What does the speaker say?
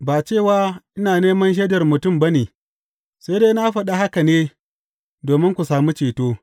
Ba cewa ina neman shaidar mutum ba ne; sai dai na faɗi haka ne domin ku sami ceto.